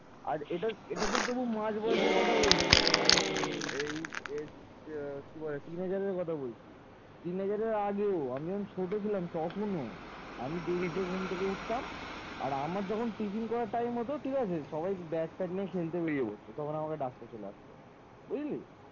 তিন বছরের আগে আমি যখন ছোট ছিলাম তখনো আমি দেরিতে ঘুম থেকে উঠতাম আর আমার যখন tiffin করার time হতো তখন সবাই দেখি ব্যাগ ট্যাগ নিয়ে খেলতে বেরিয়ে যেত আর তখন আমাকে ডাকতে চলে আসতো বুঝলি।